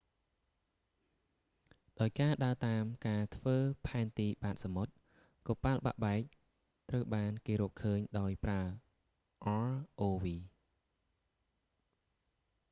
ដោយការដើរតាមការធ្វើផែនទីបាតសមុទ្រ កប៉ាល់បាក់បែកត្រូវបានគេរកឃើញដោយប្រើ rov